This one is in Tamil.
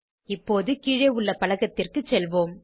இப்போது கீழே உள்ள பலகத்திற்கு செல்வோம்